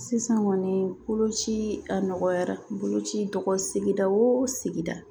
Sisan kɔni boloci a nɔgɔyara boloci sigida o sigida